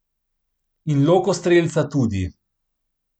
In Lokostrelca tudi.